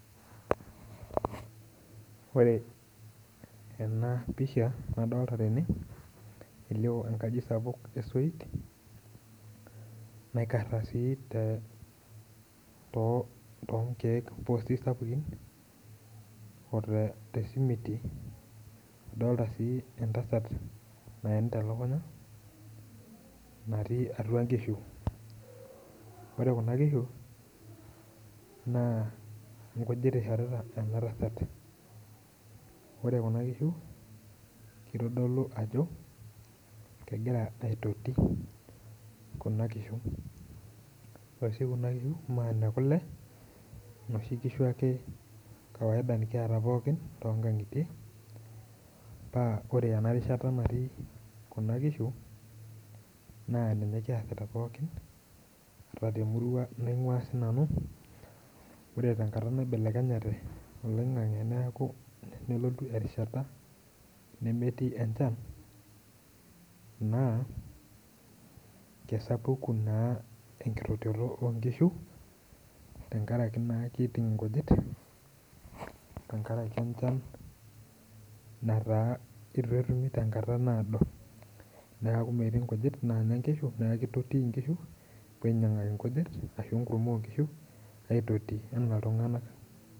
Ore enapisha nadolta tene, elio enkaji sapuk esoit, naikarra si tonkeek pusi sapukin, ote simiti, adolta si entasat naenta elukunya, natii atua nkishu. Ore kuna kishu, naa inkujit ishorita ena tasat. Ore kuna kishu, kitodolu ajo, kegira aitoti kuna kishu. Ore si kuna kishu naa nekule, noshi kishu ake ekawaida nikiata pookin tonkang'itie, pa ore enarishata natii kuna kishu, naa ninye kiasita pookin, ata temurua naing'ua sinanu, ore tenkata naibelekenyate oloing'ang'e nelotu erishata nemetii enchan, naa, kesapuku naa enkitotioto onkishu, tenkaraki naa kiting' inkujit, tenkaraki enchan nataa itu etumi tenkata naado, neeku metii nkujit nanya nkishu, neeku kitotii inkishu, nepoi ainyang'aki nkujit ashu enkurma onkishu, neitotii enaa iltung'anak.